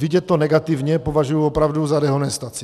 Vidět to negativně považuji opravdu za dehonestaci.